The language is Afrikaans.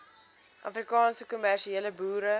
afrikaanse kommersiële boere